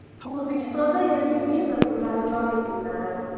O‘zbekistonda yangi viza turlari joriy qilinadi.